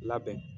Labɛn